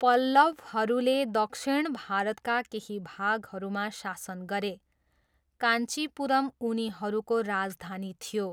पल्लवहरूले दक्षिण भारतका केही भागहरूमा शासन गरे, काञ्चीपुरम उनीहरूको राजधानी थियो।